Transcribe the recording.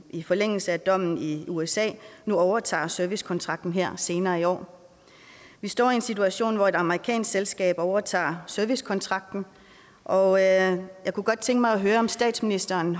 i forlængelse af dommen i usa nu overtager servicekontrakten her senere i år vi står i en situation hvor et amerikansk selskab overtager servicekontrakten og jeg kunne godt tænke mig at høre om statsministeren